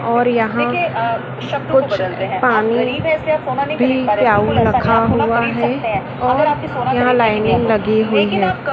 और यहाँ कुछ पानी भी रखा हुआ है और यहाँ लाइनिंग लगी हुई है।